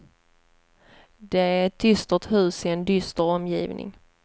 Det är ett dystert hus i en dyster omgivning.